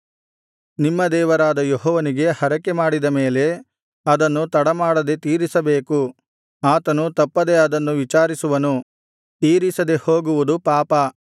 ನಿಮ್ಮ ದೇವರಾದ ಯೆಹೋವನಿಗೆ ಹರಕೆಮಾಡಿದ ಮೇಲೆ ಅದನ್ನು ತಡಮಾಡದೆ ತೀರಿಸಬೇಕು ಆತನು ತಪ್ಪದೆ ಅದನ್ನು ವಿಚಾರಿಸುವನು ತೀರಿಸದೆ ಹೋಗುವುದು ಪಾಪ